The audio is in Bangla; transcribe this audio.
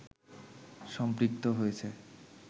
সম্পৃক্ত হয়েছে